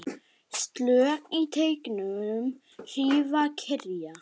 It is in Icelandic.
Slök í teignum hrífan kyrjar.